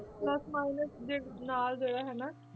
Plus minus ਦੇ ਨਾਲ ਜਿਹੜਾ ਹਨਾ,